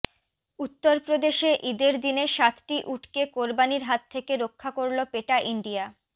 উত্তরপ্রদেশে ইদের দিনে সাতটি উটকে কোরবানির হাত থেকে রক্ষা করল পেটা ইন্ডিয়া